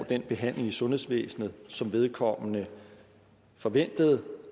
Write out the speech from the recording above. den behandling i sundhedsvæsenet som vedkommende forventede